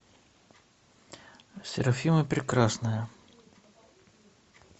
серафима прекрасная